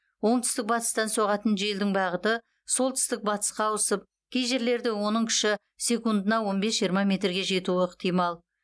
оңтүстік батыстан соғатын желдің бағыты солтүстік батысқа ауысып кей жерлерде оның күші секундына он бес жиырма метрге жетуі ықтимал